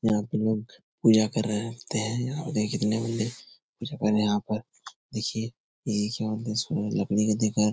यहाँ पे लोग पूजा कर रहे होते है। यहाँ और ये कितने बजे जगल है यहाँ पर देखिये एक या दस लोग लकड़ी को दे कर --